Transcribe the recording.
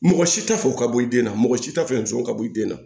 Mɔgɔ si t'a fɛ o ka bɔ i den na mɔgɔ si t'a fɛ sogo ka bɔ i den na